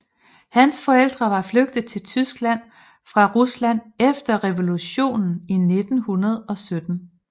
Hans forældre var flygtet til Tyskland fra Rusland efter revolutionen i 1917